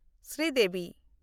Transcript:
Sridevi